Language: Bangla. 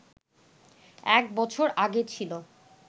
এক বছর আগে ছিল